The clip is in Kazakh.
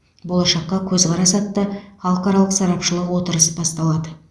болашаққа көзқарас атты халықаралық сарапшылық отырыс басталады